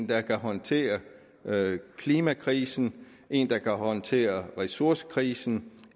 der kan håndtere klimakrisen en der kan håndtere ressourcekrisen